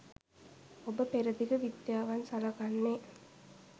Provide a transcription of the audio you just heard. ඔබ පෙරදිග විද්‍යාවන් සලකන්නේ